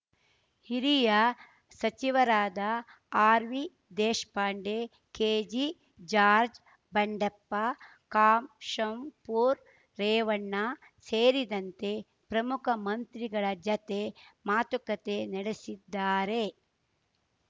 ಹಿರಿಯ ಸಚಿವರಾದ ಆರ್‌ವಿದೇಶ್ ಪಾಂಡೆ ಕೆಜೆಜಾರ್ಜ್ ಬಂಡೆಪ್ಪ ಕಾಶಂಪೂರ್‌ ರೇವಣ್ಣ ಸೇರಿದಂತೆ ಪ್ರಮುಖ ಮಂತ್ರಿಗಳ ಜತೆ ಮಾತುಕತೆ ನಡೆಸಿದ್ದಾರೆ